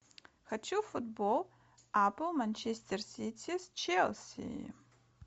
хочу футбол апл манчестер сити с челси